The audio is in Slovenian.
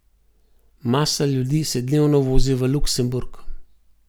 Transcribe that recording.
Masa ljudi se dnevno vozi v Luksemburg.